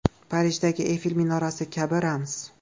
Parijdagi Eyfel minorasi kabi – ramz.